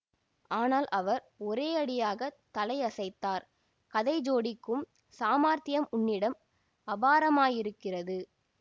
ஆனால் அவர் ஒரேயடியாகத் தலையசைத்தார் கதை ஜோடிக்கும் சாமர்த்தியம் உன்னிடம் அபாரமாயிருக்கிறது